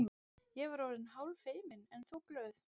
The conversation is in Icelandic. Ég var orðin hálffeimin, en þó glöð.